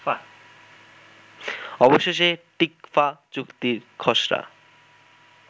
অবশেষে টিকফা চুক্তির খসড়া